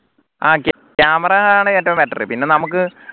ആഹ് camera ആണ് ഏറ്റവും better പിന്നെ നമുക്ക്